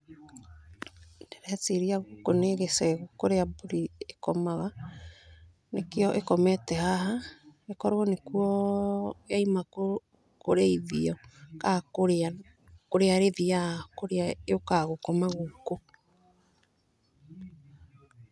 Ndĩreciria gũkũ nĩ gĩcegũ kũrĩa mburi ikomaga nĩkĩo ĩkomete haha, okorwo nĩ kuo yauma kũrĩithio kaa kũrĩa, kũrĩa ĩthiyaga kũrĩa yũkaga gũkoma gũkũ.